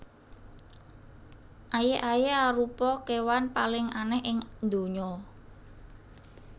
Aye aye arupa kewan paling aneh ing ndonya